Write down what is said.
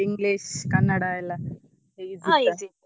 English ಕನ್ನಡಯೆಲ್ಲ easy .